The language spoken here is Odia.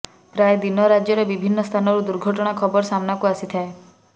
ପ୍ରାୟ ଦିନ ରାଜ୍ୟର ବିଭିନ୍ନ ସ୍ଥାନରୁ ଦୁର୍ଘଟଣା ଖବର ସାମ୍ନାକୁ ଆସିଥାଏ